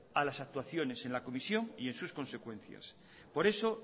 a las actuaciones en la comisión y en sus consecuencias por eso